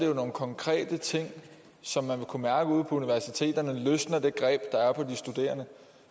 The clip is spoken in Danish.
jo nogle konkrete ting som man vil kunne mærke ude på universiteterne vi løsner det greb der er på de studerende